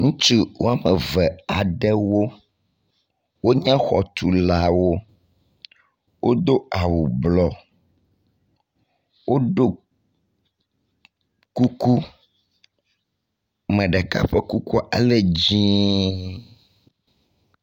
Ŋutsu wɔme eve aɖewo wonye xɔtulawo. Wodo awu blɔ. Woɖo kuku. Ame ɖeka ƒe kukua ele dzie.